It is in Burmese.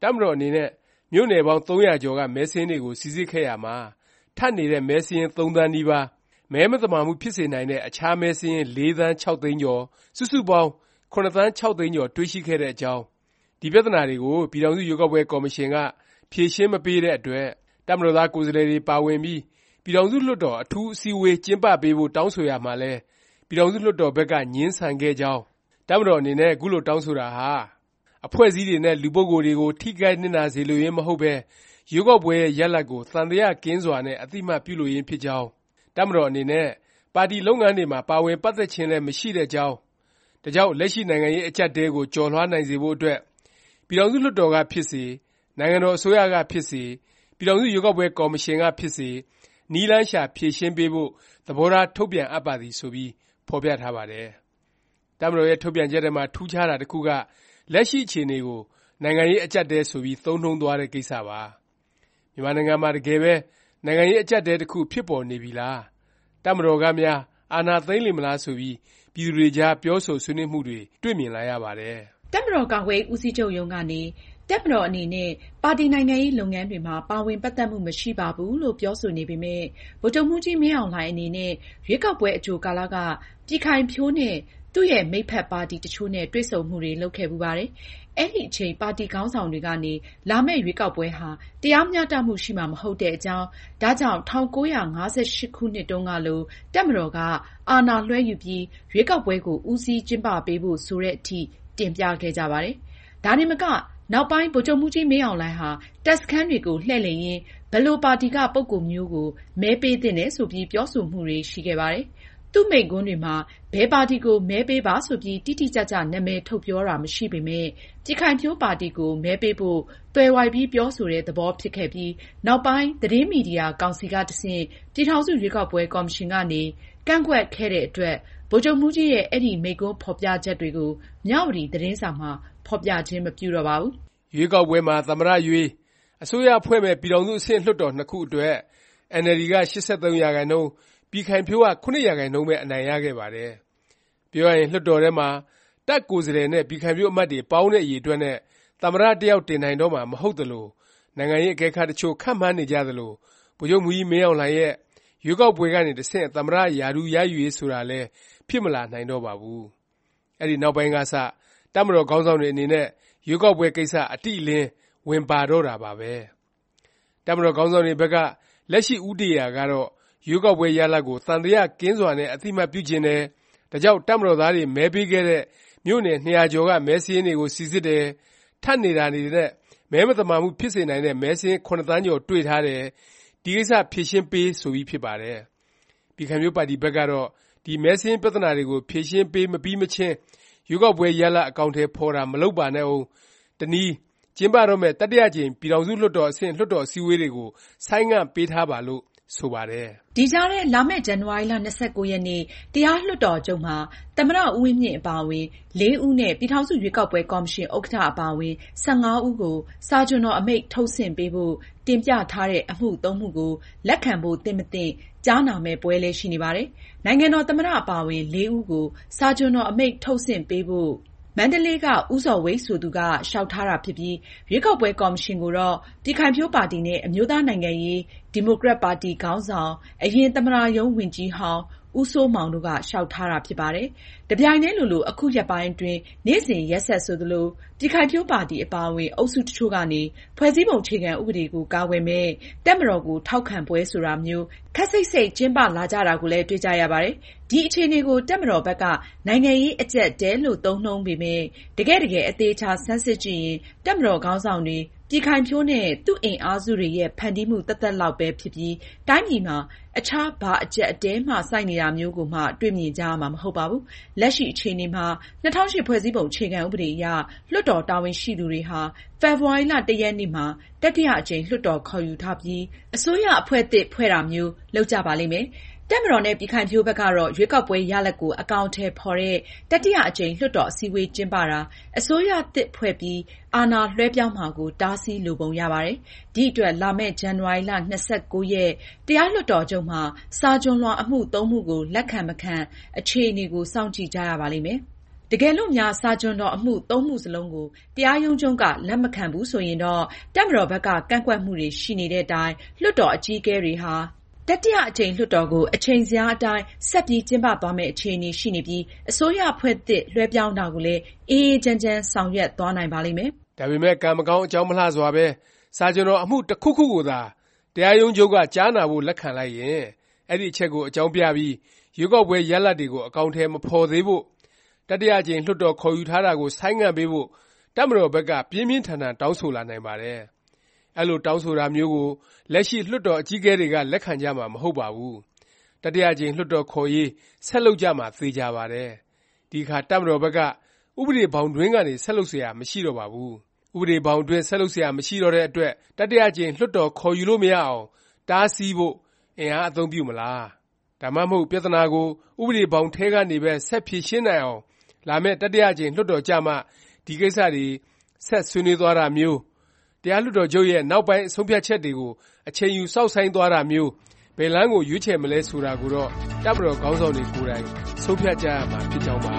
၊ တပ်မတော် အနေနဲ့ မြို့နယ်ပေါင်း ၃၀၀ ကျော်က မဲစာရင်းတွေကို စိစစ်ခဲ့ရာမှာ ထပ်နေတဲ့ မဲစာရင်း ၃ သန်းနီးပါး၊ မဲမသာမှုဖြစ်စေနိုင်တဲ့ အခြားမဲစာရင်း ၄ သန်း ၆ သိန်းကျော်၊ စုစုပေါင်း ၇ သန်း ၆ သိန်းကျော် တွေ့ရှိခဲ့တဲ့ အကြောင်း၊ ဒီ ပြသနာတွေကို ပြည်ထောင်စု ရွေးကောက်ပွဲ ကော်မရှင်က ဖြေရှင်းမပေးတဲ့ အတွက် တပ်မတော်သား ကိုယ်စားလှယ်တွေ ပါဝင်ပြီး ပြည်ထောင်စု လွှတ်တော် အထူးအစည်းအဝေး ကျင်းပပေးဖို့ တောင်းဆိုရာမှာလည်း ပြည်ထောင်စု လွှတ်တော်ဘက်က ငြင်းဆန်ခဲ့ကြောင်း၊ တပ်မတော် အနေနဲ့ ခုလို တောင်းဆိုတာဟာ အဖွဲ့အစည်းတွေနဲ့ လူပုဂ္ဂိုလ်တွေကို ထိခိုက်နစ်နာ စေလိုရင်း မဟုတ်ပဲ ရွေးကောက်ပွဲရဲ့ ရလာဒ်ကို သံသယ ကင်းစွာနဲ့ အသိအမှတ်ပြုလိုရင်း ဖြစ်ကြောင်း၊ တပ်မတော် အနေနဲ့ ပါတီလုပ်ငန်းတွေမှာ ပါဝင်ပတ်သက်ခြင်းလည်း မရှိတဲ့အကြောင်း၊ ဒါကြောင့် လက်ရှိ နိုင်ငံရေးအကျပ်အတည်း ကို ကျော်လွှားနိုင်စေဖို့ အတွက် ပြည်ထောင်စု လွှတ်တော်က ဖြစ်စေ၊ နိုင်ငံတော် အစိုးရက ဖြစ်စေ၊ ပြည်ထောင်စု ရွေးကောက်ပွဲ ကော်မရှင်ကဖြစ်စေ နည်းလမ်းရှာ ဖြေရှင်းပေးဖို့ သဘောထား ထုတ်ပြန်အပ်ပါသည် ဆိုပြီး ဖော်ပြထားပါတယ်။ တပ်မတော်ရဲ့ ထုတ်ပြန်ချက်ထဲမှာ ထူးခြားတာ တစ်ခုက လက်ရှိ အခြေအနေကို “ နိုင်ငံရေး အကျပ်အတည်း” ဆိုပြီး သုံးနှုန်းသွားတဲ့ ကိစ္စပါ။ မြန်မာနိုင်ငံမှာ တကယ်ပဲ နိုင်ငံရေး အကျပ်အတည်း တစ်ခု ဖြစ်ပေါ်နေပြီလား၊ တပ်မတော်ကများ အာဏာသိမ်းလေမလား ဆိုပြီး ပြည်သူတွေကြား ပြောဆိုဆွေးနွေးမှုတွေ တွေ့မြင်လာရပါတယ်။ တပ်မတော် ကာကွယ်ရေး ဦးစီးချုပ်ရုံး ကနေ တပ်မတော် အနေနဲ့ ပါတီနိုင်ငံရေး လုပ်ငန်းတွေမှာ ပါဝင် ပတ်သက်မှု မရှိပါဘူးလို့ ပြောဆိုနေပေမယ့် ဗိုလ်ချုပ်မှူးကြီး မင်းအောင်လှိုင် အနေနဲ့ ရွေးကောက်ပွဲ အကြိုကာလက ပြည်ခိုင်ဖြိုး နဲ့ သူ့ရဲ့ မိတ်ဖက် ပါတီ တစ်ချို့နဲ့ တွေ့ဆုံမှုတွေ လုပ်ခဲ့ဖူးပါတယ်။ အဲဒီအချိန် ပါတီ ခေါင်းဆောင်တွေကနေ လာမယ့် ရွေးကောက်ပွဲဟာ တရားမျှတမှု ရှိမှာ မဟုတ်တဲ့အကြောင်း၊ ဒါကြောင့် ၁၉၅၈ ခုနှစ်တုန်းကလို တပ်မတော်က အာဏာလွဲှယူပြီး ရွေးကောက်ပွဲကို ဦးစီးကျင်းပပေးဖို့ ဆိုသည်အထိ တင်ပြခဲ့ကြပါတယ်။ ဒါတင်မက နောက်ပိုင်း ဗိုလ်ချုပ်မှူးကြီး မင်းအောင်လှိုင်ဟာ တပ်စခန်းတွေကို လှည့်လည်ရင်း ဘယ်လို ပါတီက ပုဂ္ဂိုလ်မျိုးကို မဲပေးသင့်တယ် ဆိုပြီး ပြောဆိုမှုတွေရှိခဲ့ပါတယ်။ သူ့မိန့်ခွန်းတွေမှာ ဘယ်ပါတီကို မဲပေးပါဆိုပြီး တိတိကျကျ နာမည်ထုတ်ပြောတာ မရှိပေမယ့် ပြည်ခိုင်ဖြိုးပါတီကို မဲပေးဖို့ သွယ်ဝိုက်ပြီး ပြောဆိုတဲ့ သဘောဖြစ်ခဲ့ပြီး နောက်ပိုင်း သတင်းမီဒီယာ ကောင်စီက တဆင့် ပြည်ထောင်စု ရွေးကောက်ပွဲ ကော်မရှင်ကနေ ကန့်ကွက်ခဲ့တဲ့အတွက် ဗိုလ်ချုပ်မှူးကြီးရဲ့ အဲဒီ မိန့်ခွန်းဖော်ပြချက်တွေကို မြဝတီ သတင်းစာမှာ ဖော်ပြခြင်း မပြုတော့ပါဘူး။ ရွေးကောက်ပွဲမှာ သမ္မတ ရွေး၊ အစိုးရဖွဲ့မယ့် ပြည်ထောင်စု အဆင့် လွှတ်တော်နှစ်ခု အတွက် အင်န်အယ်လ်ဒီ က ၈၃%၊ ပြည်ခိုင်ဖြိုးက ၇% ပဲ အနိုင်ရခဲ့ပါတယ်။ ပြောရရင် လွှတ်တော်ထဲမှာ တပ်ကိုယ်စားလှယ်နဲ့ ပြည်ခိုင်ဖြိုးအမတ်တွေ ပေါင်းတဲ့ အရေအတွက်နဲ့ သမ္မတတစ်ယောက် တင်နိုင်တော့မှာ မဟုတ်သလို၊ နိုင်ငံရေးအကဲခတ်တချို့ ခန့်မှန်းနေကြသလို ဗိုလ်ချုပ်မှူးကြီး မင်းအောင်လှိုင်ရဲ့ ရွေးကောက်ပွဲကနေ တဆင့် သမ္မတ ရာထူးရယူရေး ဆိုတာလည်း ဖြစ်မလာတော့ပါဘူး။ အဲဒီနောက်ပိုင်းကစ တပ်မတော်ခေါင်းဆောင်တွေ အနေနဲ့ ရွေးကောက်ပွဲ ကိစ္စ အတိအလင်း ဝင်ပါလာတော့တာပါပဲ။ တပ်မတော် ခေါင်းဆောင်တွေဘက်က လက်ရှိ ဦးတည်ရာကတော့ ရွေးကောက်ပွဲရလာဒ်ကို သံသယ ကင်းစွာနဲ့ အသိအမှတ်ပြုချင်တယ်၊ ဒါကြောင့် တပ်မတော်သားတွေ မဲပေးခဲ့တဲ့ မြို့နယ် ၂၀၀ ကျော်က မဲစာရင်းတွေကို စိစစ်တယ်၊ ထပ်နေတာတွေနဲ့ မဲမသာမှုဖြစ်စေနိုင်တဲ့ မဲစာရင်း ၇ သန်းကျော် တွေ့ထားတယ်၊ ဒီကိစ္စ ဖြေရှင်းပေး ဆိုပြီး ဖြစ်ပါတယ်။ ပြည်ခိုင်ဖြိုးပါတီ ဘက်ကတော့ ဒီမဲစာရင်း ပြသနာတွေကို ဖြေရှင်းပေး မပြီးမချင်း ရွေးကောက်ပွဲ ရလာဒ် အကောင်အထည် ဖော်တာ မလုပ်ပါနဲ့ဦး၊ တနည်း ကျင်းပတော့မယ့် တတိယ အကြိမ် ပြည်ထောင်စု အဆင့် လွှတ်တော် အစည်းအဝေးတွေကို ဆိုင်းငံ့ပေးထားပါလို့ ဆိုပါတယ်။ ဒီကြားထဲ လာမယ့် ဇန်နဝါရီ ၂၉ ရက်နေ့ တရားလွှတ်တော်ချုပ်မှာ သမ္မတ ဦးဝင်းမြင့်အပါအဝင် ၄ ဦးနဲ့ ပြည်ထောင်စု ရွေးကောက်ပွဲ ကော်မရှင် ဥက္ကဌ အပါအဝင် ၁၅ ဦးကို စာချွန်တော် အမိန့် ထုတ်ဆင့်ပေးဖို့ တင်ပြထားတဲ့ အမှု(၃) မှုကို လက်ခံဖို့ သင့်မသင့် ကြားနာမယ့် ပွဲလည်း ရှိနေပါတယ်။ နိုင်ငံတော် သမ္မတ အပါ ၄ ဦးကို စာချွန်တော် အမိန့်ထုတ်ဆင့်ပေးဖို့ မန္တလေးက ဦးဇော်ဝိတ် ဆိုသူက လျောက်ထားတာ ဖြစ်ပြီး၊ ရွေးကောက်ပွဲ ကော်မရှင် ကိုတော့ ပြည်ခိုင်ဖြိုးပါတီ နဲ့ အမျိုးသားနိုင်ငံရေး ဒီမိုကရက်ပါတီ ခေါင်းဆောင် အရင် သမ္မတရုံးဝန်ကြီးဟောင်း ဦးစိုးမောင်တို့က လျောက်ထားတာ ဖြစ်ပါတယ်။ တပြိုင်တည်းလိုလို အခုရက်ပိုင်းအတွင်း နေ့စဉ် ရက်ဆက်ဆိုသလို၊ ပြည်ခိုင်ဖြိုးပါတီ အပါအဝင် အုပ်စု တစ်ချို့ကနေ ဖွဲ့စည်းပုံ အခြေခံ ဥပဒေကို ကာကွယ်မယ့် တပ်မတော်ကို ထောက်ခံပွဲ ဆိုတာမျိုး ခပ်စိပ်စိပ် ကျင်းပလာကြတာကိုလည်း တွေ့ကြရပါတယ်။ ဒီ အခြေအနေကို တပ်မတော်ဘက်က “ နိုင်ငံရေး အကျပ်အတည်း” လို့ သုံးနှုန်းပေမယ့် တကယ့် တကယ် အသေအခြာ ဆန်းစစ်ကြည့်ရင် တပ်မတော် ခေါင်းဆောင်တွေ၊ ပြည်ခိုင်ဖြိုးနဲ့ သူ့အင်အားစုတွေရဲ့ ဖန်တီးမှု သက်သက်လောက်ပဲ ဖြစ်ပြီး တိုင်းပြည်မှာ အခြား ဘာအကျပ်အတည်းမှ ဆိုက်နေတာမျိုးကိုမှ တွေ့မြင်ကြရမှာ မဟုတ်ပါဘူး။ လက်ရှိ အခြေအနေမှာ ၂၀၀၈ ဖွဲ့စည်းပုံ အခြေခံ ဥပဒေအရ လွှတ်တော် တာဝန်ရှိသူတွေဟာ ဖေဖေါ်ဝါရီ ၁ ရက်နေ့မှာ တတိယ အကြိမ် လွှတ်တော် ခေါ်ယူထားပြီး သမ္မတ ရွေး၊ အစိုးရအဖွဲ့သစ် ဖွဲ့တာမျိုး လုပ်ကြပါလိမ့်မယ်။ တပ်မတော်နဲ့ ပြည်ခိုင်ဖြိုးဘက်ကတော့ ရွေးကောက်ပွဲ ရလာဒ်ကို အကောင်အထည် ဖော်တဲ့ တတိယ အကြိမ် လွှတ်တော် အစည်းအဝေး ကျင်းပတာ၊ အစိုးရသစ် ဖွဲ့ပြီး အာဏာလွဲှပြောင်းမှာကို တားဆီးလိုပုံရပါတယ်။ ဒီအတွက် လာမယ့် ဇန်နဝါရီ ၂၉ ရက် တရားလွှတ်တော်ချုပ်မှာ စာချွန်လွှာအမှု (၃) မှုကို လက်ခံ၊ မခံ အခြေအနေကို စောင့်ကြည့်ကြရပါလိမ့်မယ်။ တကယ်လို့များ စာချွန်တော်မှု (၃) မှုစလုံးကို တရားရုံးချုပ်က လက်မခံဘူး ဆိုရင်တော့ တပ်မတော်ဘက်က ကန့်ကွက်မှုတွေ ရှိနေတဲ့တိုင် လွှတ်တော် အကြီးအကဲတွေဟာ တတိယ အကြိမ် လွှတ်တော်ကို အချိန်ဇယားအတိုင်း ဆက်ပြီး ကျင်းပသွားမယ့် အခြေအနေရှိနေပြီး အစိုးရအဖွဲ့သစ် လွှဲပြောင်းတာကိုလည်း အေးအေးချမ်းချမ်း ဆောင်ရွက်သွားနိုင်ပါလိမ့်မယ်။ ဒါပေမယ့် ကံမကောင်း အကြောင်းမလှစွာပဲ စာချွန်တော် အမှု တခုခုကိုသာ တရားရုံးချုပ်က ကြားနာဖို့ လက်ခံလိုက်ရင် အဲဒီ အချက်ကို အကြောင်းပြပြီး ရွေးကောက်ပွဲ ရလာဒ်တွေကို အကောင်အထည် မဖော်သေးဖို့၊ တတိယ အကြိမ် လွှတ်တော် ခေါ်ယူထားတာကို ဆိုင်းငံ့ပေးဖို့ တပ်မတော်ဘက်က ပြင်းပြင်းထန်ထန် တောင်းဆိုလာနိုင်ပါတယ်။ အဲလို တောင်းဆိုတာမျိုးကို လက်ရှိ လွှတ်တော် အကြီးအကဲတွေက လက်ခံကြမှာ မဟုတ်ပါဘူး။ တတိယ အကြိမ် လွှတ်တော်ခေါ်ရေး ဆက်လုပ်ကြမှာ သေခြာပါတယ်။ ဒီအခါ တပ်မတော်ဘက်က ဥပဒေဘောင်တွင်းကနေ ဆက်လုပ်စရာ မရှိတော့ပါဘူး။ ဥပဒေဘောင်အတွင်း ဆက်လုပ်စရာ မရှိတော့တဲ့အတွက် တတိယအကြိမ် လွှတ်တော် ခေါ်ယူလို့ မရအောင်၊ တားဆီးဖို့ အင်အားအသုံးပြုမလား၊ ဒါမှမဟုတ် ပြသနာကို ဥပဒေဘောင်ထဲကနေပဲ ဆက်ဖြေရှင်းနိုင်အောင် လာမယ့် တတိယအကြိမ် လွှတ်တော်ကျမှ ဒီ ကိစ္စတွေ ဆက်ဆွေးနွေးသွားတာမျိုး၊ တရားလွှတ်တော်ချုပ်ရဲ့ နောက်ပိုင်း ဆုံးဖြတ်ချက်တွေကို အချိန်ယူ စောင့်ဆိုင်းသွားတာမျိုး ဘယ်လမ်းကို ရွေးချယ်မလဲ ဆိုတာကိုတော့ တပ်မတော် ခေါင်းဆောင်တွေ ကိုယ်တိုင် ဆုံးဖြတ်ကြရမှာ ဖြစ်ကြောင်းပါ